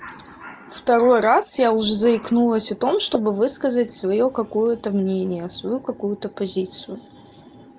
второй раз я уже заикнулась о том чтобы высказать своё какое-то мнение свою какую-то позицию